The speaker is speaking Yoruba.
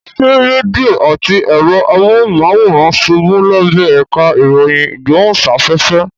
Ṣé rédíò àti ẹ̀rọ amóhùnmáwòrán ṣubú lábẹ́ ẹ̀ka ìròyìn ìgbóhùnsáfẹ́fẹ́?